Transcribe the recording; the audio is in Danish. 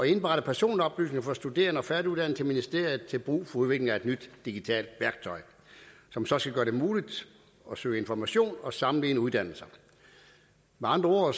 indberette personoplysninger for studerende og færdiguddannede til ministeriet til brug for udvikling af et nyt digitalt værktøj som så skal gøre det muligt at søge information og sammenligne uddannelser med andre